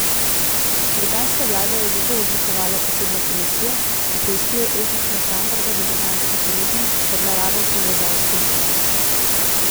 Britanska vlada je zato oblikovala posebno komisijo, ki preiskuje etične standarde v britanskih medijih ter naravo povezav s politiki.